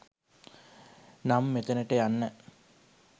නම් මෙතනට යන්න